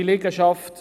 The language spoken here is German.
dieseLiegenschaft